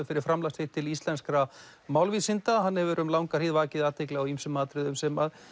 fyrir framlag sitt til íslenskra málvísinda en hann hefur um langa hríð vakið athygli á ýmsum atriðum sem